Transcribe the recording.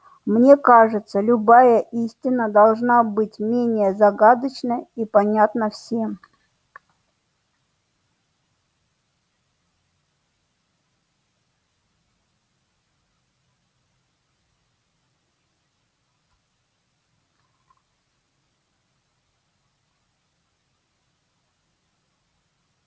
мне кажется любая истина должна быть менее загадочна и понятна всем